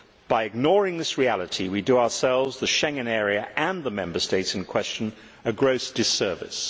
By ignoring this reality, we do ourselves, the Schengen area and the Member States in question a gross disservice.